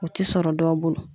O ti sɔrɔ dɔw bolo.